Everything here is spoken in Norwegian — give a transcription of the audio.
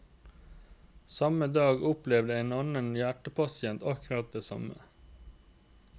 Samme dag opplevde en annen hjertepasient akkurat det samme.